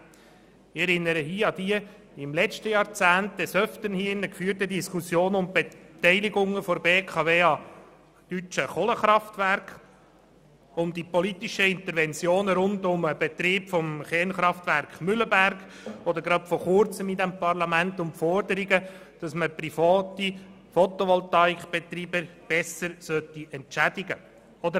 Ich erinnere an die im letzten Jahrzehnt in diesem Saal oft geführten Diskussionen zu Beteiligungen der BKW an deutschen Kohlekraftwerken, um die politischen Interventionen rund um den Betrieb des Kernkraftwerks Mühleberg oder an die kürzlich diskutierten Forderungen in diesem Parlament, dass die privaten Betreiber von Fotovoltaikanlagen besser entschädigt werden sollen.